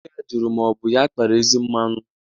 Nne ya jụrụ ya ma ọ bụ ya kpara ezi mmanụ.